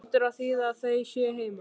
Sem hlýtur að þýða að þau séu heima.